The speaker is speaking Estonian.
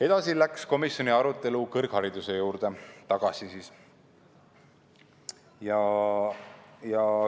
Edasi läks komisjoni arutelu kõrghariduse juurde tagasi.